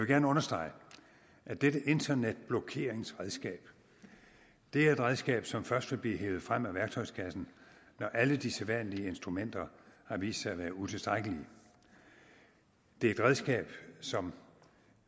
gerne understrege at dette internetblokeringsredskab er et redskab som først vil blive hevet frem af værktøjskassen når alle de sædvanlige instrumenter har vist sig at være utilstrækkelige det er et redskab som